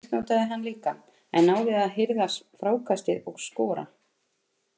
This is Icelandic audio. Það misnotaði hann líka en náði að hirða frákastið og skora.